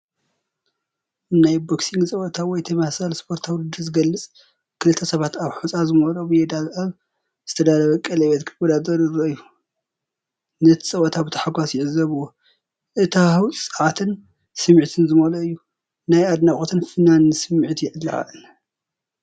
ናይ ቦክሲንግ ጸወታ ወይ ተመሳሳሊ ስፖርታዊ ውድድር ዝገልጽ ፣ ክልተ ሰባት ኣብ ሑጻ ዝመልኦ ሜዳ ኣብ ዝተዳለወ ቀለቤት ክወዳደሩ ይረኣዩ፤ ነቲ ጸወታ ብታሕጓስ ይዕዘብዎ። እቲ ሃዋህው ጸዓትን ስምዒትን ዝመልኦ እዩ። ናይ ኣድናቖትን ፍናንን ስምዒት የለዓዕል።